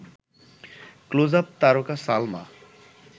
Closeup তারকা সালমা